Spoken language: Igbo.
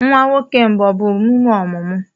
Nwa nwoke mbụ ọ bụ emume ọmụmụ?